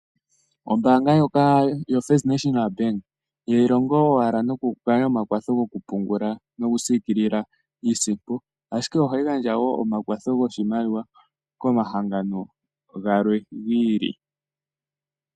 Ombaanga ndjoka yoFirst National Bank ihayi longo owala noku gandja omakwatho gokupungula nokusiikilila iisimpo, ashike ohayi gandja wo omakwatho goshimaliwa komahangano galwe gi ili.